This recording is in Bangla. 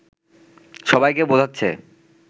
সবাইকে বোঝাচ্ছে